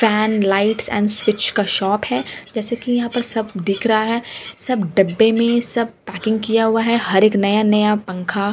fan lights and switch का shop है जैसे की यहाँ पे सब दिख रहा है सब डब्बे में सब पैकिंग किया हुआ है हर एक नया-नया पंखा --